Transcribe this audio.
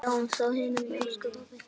Sjáumst á himnum, elsku pabbi.